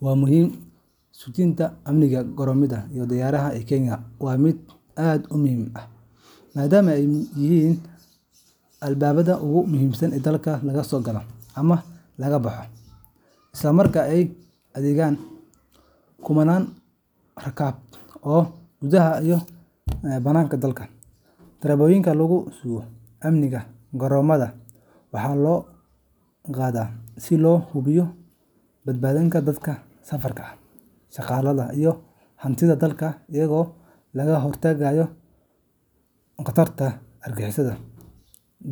Waa muhim ,sugidda amniga garoomada diyaaradaha ee Kenya waa mid aad muhiim u ah maadaama ay yihiin albaabada ugu muhiimsan ee dalka laga soo galo ama laga baxo, isla markaana ay adeegaan kumannaan rakaab ah oo gudaha iyo dibedda u kala socda. Tallaabooyinka lagu sugo amniga garoomada waxaa loo qaadaa si loo hubiyo badbaadada dadka safarka ah, shaqaalaha, iyo hantida dalka, iyadoo laga hortagayo khataraha argagixisada,